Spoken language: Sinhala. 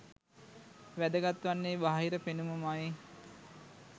වැදගත් වන්නේ බාහිර පෙනුම ම යි.